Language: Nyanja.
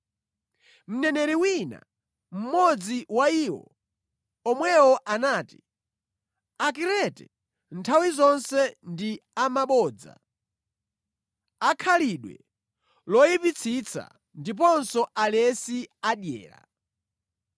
Mneneri wina, mmodzi wa iwo omwewo anati, “Akrete nthawi zonse ndi amabodza, akhalidwe loyipitsitsa ndiponso alesi adyera.”